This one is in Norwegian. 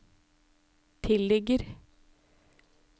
tilligger